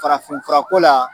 Farafinfurako la